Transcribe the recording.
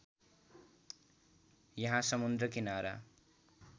यहाँ समुद्र किनारा